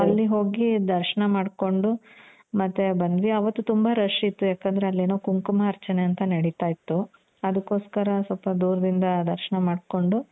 ಅಲ್ಲಿ ಹೋಗಿ ದರ್ಶ್ನ ಮಾಡ್ಕೊಂಡು, ಮತ್ತೆ ಬಂದ್ವಿ. ಅವತ್ತು ತುಂಬ rush ಇತ್ತು. ಯಾಕಂದ್ರೆ ಅಲ್ಲೇನೋ ಕುಂಕುಮಾರ್ಚನೆ ಅಂತ ಏನೋ ನೆಡಿತ ಇತ್ತು. ಅದುಕ್ಕೊಸ್ಕರ ಸ್ವಲ್ಪ ದೂರದಿಂದ ದರ್ಶ್ನ ಮಾಡ್ಕೊಂಡು.